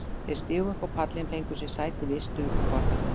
Þeir stigu upp á pallinn og fengu sér sæti við ystu borðaröðina.